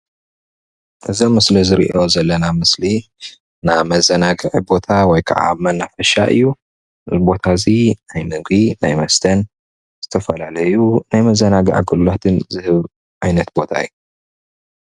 እዚ ኣብ ምስሊ እንርኦ ዘለና ምስሊ ናይ መዘናግዒ ቦታ ወይ ከዓ መናፈሻ እዩ። እዚ ቦታ እዚ ናይ ምግቢ ናይ መስተን ዝተፈላለዩ ናይ መዘናግዒ ኣገልግሎትን ዝህብ ዓይነት ቦታ እዩ።